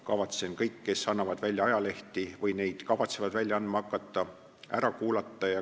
Kavatsen kõik, kes annavad välja ajalehti või neid kavatsevad välja andma hakata, ära kuulata.